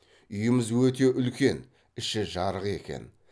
үйіміз өте үлкен іші жарық екен